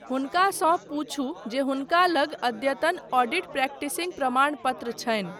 हुनकासँ पूछू जे हुनका लग अद्यतन ऑडिट प्रैक्टिसिंग प्रमाण पत्र छनि।